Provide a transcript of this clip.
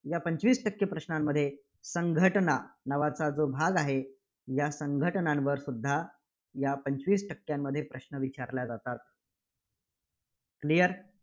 या पंचवीस टक्के प्रश्नांमध्ये संघटना नावाचा जो भाग आहे, या संघटनांवरसुद्धा या पंचवीस टक्क्यांमध्ये प्रश्न विचारल्या जातात. clear